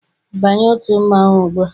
Banye otu mmanwụ ugbua!